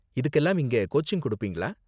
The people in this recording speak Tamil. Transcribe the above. இதுக்கெல்லாம் இங்க கோச்சிங் கொடுப்பீங்களா?